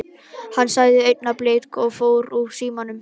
Hann sagði augnablik og fór úr símanum.